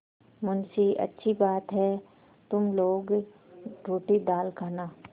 मुंशीअच्छी बात है तुम लोग रोटीदाल खाना